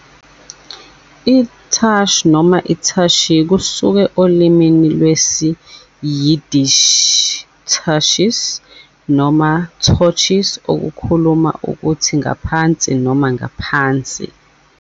I-Tush noma i-tushy, kusuka olimini lwesi-Yiddish "tuchis" noma "tochis" okusho ukuthi "ngaphansi" noma "ngaphansi".